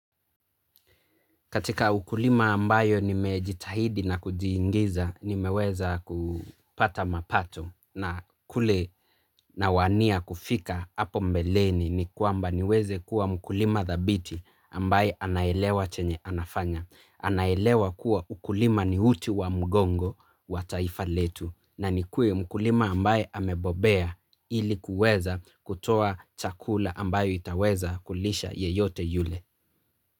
Katika ukulima ambayo nimejitahidi na kujiingiza, nimeweza kupata mapato na kule nawania kufika hapo mbeleni ni kwamba niweze kuwa mkulima thabiti ambaye anaelewa chenye anafanya. Anaelewa kuwa ukulima ni uti wa mgongo wa taifa letu na nikuwe mkulima ambaye amebobea ili kuweza kutoa chakula ambayo itaweza kulisha yeyote yule.